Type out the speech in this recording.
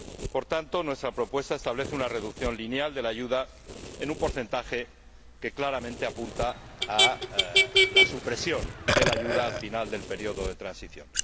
Por tanto, nuestra propuesta establece una reducción lineal de la ayuda en un porcentaje que claramente apunta a la supresión de la ayuda al final del periodo de transición.